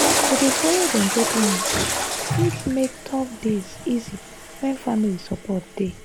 to dey follow dem go clinic fit make tough days easy when family support dey.